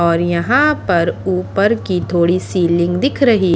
और यहां पर ऊपर की थोड़ी सीलिंग दिख रही--